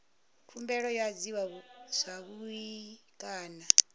khumbelo yo adziwa zwavhui kana